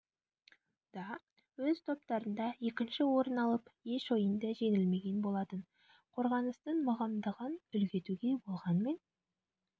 да өз топтарында екінші орын алып еш ойында жеңілмеген болатын қорғаныстың мығымдығын үлгі етуге болғанмен